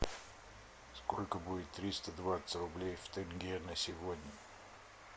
сколько будет триста двадцать рублей в тенге на сегодня